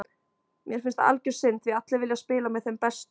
Mér finnst það algjör synd því allir vilja spila með þeim bestu.